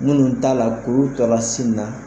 Minnu t'a la kuru tora sin na